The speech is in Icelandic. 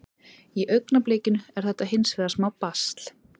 Í augnablikinu er þetta hins vegar smá basl.